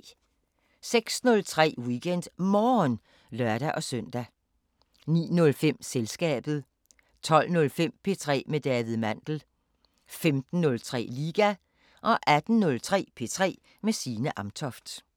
06:03: WeekendMorgen (lør-søn) 09:05: Selskabet 12:05: P3 med David Mandel 15:03: Liga 18:03: P3 med Signe Amtoft